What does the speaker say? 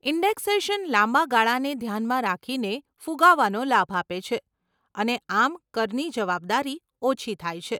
Indexation લાંબા ગાળાને ધ્યાનમાં રાખીને ફુગાવાનો લાભ આપે છે અને આમ કરની જવાબદારી ઓછી થાય છે.